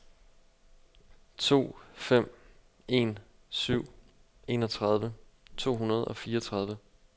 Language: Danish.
to fem en syv enogtredive to hundrede og fireogtredive